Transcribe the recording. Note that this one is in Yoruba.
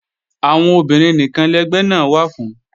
Àwọn obìnrin nìkan lẹgbẹ́ náà wà fún